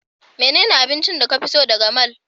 Menene abincin da ka fi so daga mall?